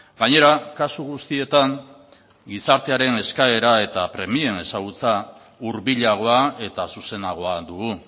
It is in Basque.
gainera kasu guztietan gizartearen eskaera eta premien ezagutza hurbilagoa eta zuzenagoa dugu